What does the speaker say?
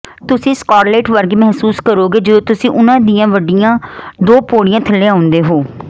ਤੁਸੀਂ ਸਕਾਰਲੇਟ ਵਰਗੇ ਮਹਿਸੂਸ ਕਰੋਗੇ ਜਦੋਂ ਤੁਸੀਂ ਉਨ੍ਹਾਂ ਦੀਆਂ ਵੱਡੀਆਂ ਦੋ ਪੌੜੀਆਂ ਥੱਲੇ ਆਉਂਦੇ ਹੋ